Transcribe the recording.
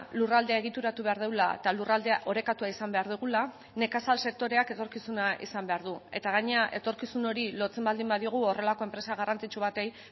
lurraldea egituratu behar dugula eta lurraldea orekatua izan behar dugula nekazal sektoreak etorkizuna izan behar du eta gainera etorkizun hori lotzen baldin badiogu horrelako enpresa garrantzitsu bati